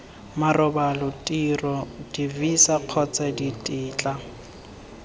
marobalo tiro divisa kgotsa ditetla